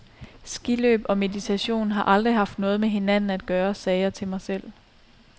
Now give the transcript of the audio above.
Skiløb og meditation har aldrig haft noget med hinanden at gøre, sagde jeg til mig selv.